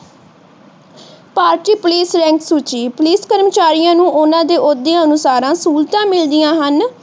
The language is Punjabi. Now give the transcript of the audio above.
ਭਾਰਤੀ ਪੁਲਿਸ ਲਾਈਨ ਸੂਚੀ ਪੁਲਿਸ ਕਰਮਚਾਰੀਆਂ ਨੂੰ ਓਹਨਾ ਦੇ ਓਹਦੇ ਅਨੁਸਾਰ ਸਹੂਲਤਾਂ ਮਿਲਦੀਆਂ ਹਨ